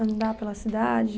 Andar pela cidade?